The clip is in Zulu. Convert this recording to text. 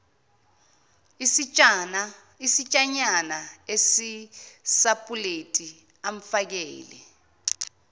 isitshanyana esisapuleti amfakele